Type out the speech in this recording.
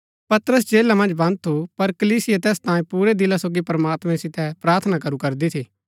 पतरस जेला मन्ज बन्द थु पर कलीसिया तैस तांयें पुरै दिला सोगी प्रमात्मैं सितै प्रार्थना करू करदी थी